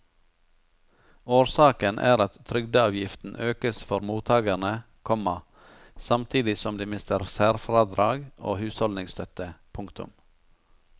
Årsaken er at trygdeavgiften økes for mottagerne, komma samtidig som de mister særfradrag og husholdningsstøtte. punktum